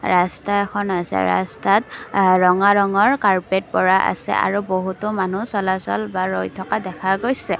ৰাস্তা এখন আছে ৰাস্তাত আ ৰঙা ৰঙৰ কাৰ্পেট পৰা আছে আৰু বহুতো মানুহ চলাচল বা ৰৈ থকা দেখা গৈছে।